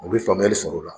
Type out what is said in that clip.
U bɛ faamuyali sɔrɔ o la